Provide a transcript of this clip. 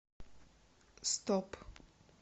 стоп